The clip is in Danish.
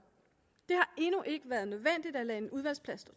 endnu ikke været nødvendigt at lade en udvalgsplads stå